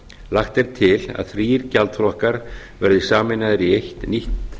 lagt er til að þrír gjaldflokkar verði sameinaðir í eitt nýtt